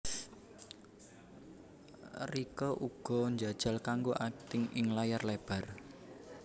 Rieke uga njajal kanggo akting ing layar lebar